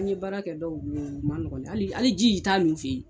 An ye baara kɛ dɔw bolo u ma nɔgɔn hali hali ji i t'a min u fe ye.